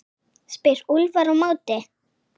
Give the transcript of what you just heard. spyr Úlfar á móti?